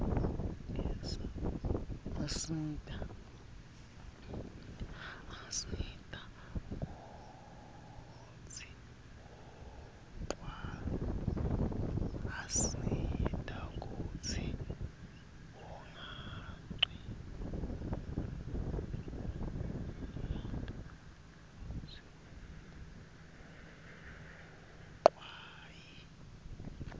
asita kutsz unqawi umnotfo